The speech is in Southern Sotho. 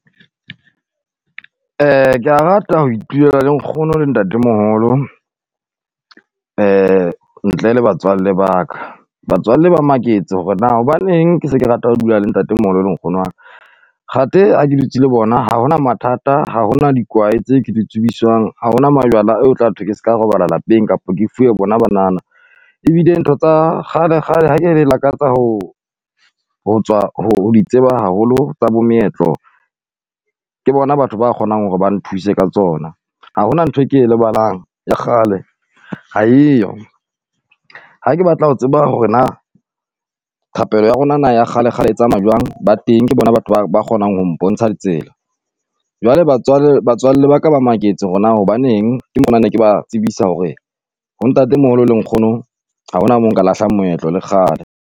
ke a rata ho iphelela le nkgono le ntate moholo, ntle le batswalle baka. Batswalle ba maketse hore na hobaneng ke se ke rata ho dula le ntate moholo le nkgono waka. Kgate a ke dutse le bona ha hona mathata, ha hona dikwae tse ke di tsubiswang, ha hona majwala a ho tla thwe ke ska robala lapeng, kapa ke fiwe bona banana. Ebile ntho tsa kgale kgale ha ke re lakatsa ho ho tswa ho di tseba haholo tsa bo meetlo, ke bona batho ba kgonang hore ba nthuse ka tsona. Ha hona nthwe ke lebalang ya kgale ha eyo. Ha ke batla ho tseba hore na thapelo ya rona na ya kgale kgale e tsamaya jwang, ba teng ke bona batho ba ba kgonang ho mpontsha tsela. Jwale batswalle baka ba maketse hore na hobaneng ke mo ne ke ba tsebisa hore ho ntate moholo le nkgono ha hona mo nka lahlang moetlo le kgale.